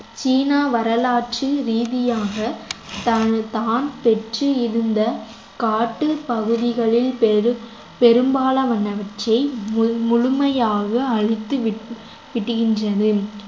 சீனா வரலாற்றில் ரீதியாக தான் தான் பெற்று இருந்த காட்டுப் பகுதிகளில் பெரும்~ பெரும்பாலானவற்றை முழு~ முழுமையாக அழித்து விட்டு~ விட்டுகின்றது